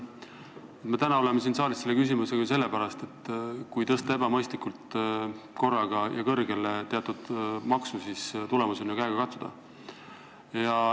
Me oleme täna siin saalis selle küsimusega sellepärast, et kui tõsta teatud maks korraga ebamõistlikult kõrgele, siis on tulemus ju käega katsuda.